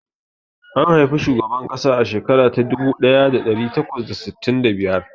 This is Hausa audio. An haifi shugaban ƙasa a shekara ta dubu daya da dari takwas da sittin da biyar.